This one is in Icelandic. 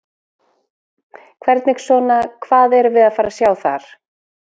Hvernig svona, hvað erum við að fara sjá þar?